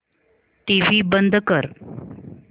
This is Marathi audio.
टीव्ही बंद कर